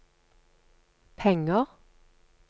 penger